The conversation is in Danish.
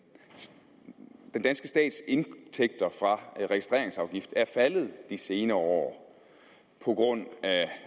danske stats indtægter fra registreringsafgifter er faldet de senere år på grund